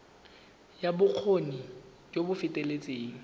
ya bokgoni jo bo feteletseng